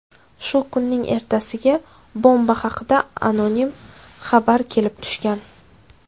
Shu kunning ertasiga bomba haqida anonim xabar kelib tushgan.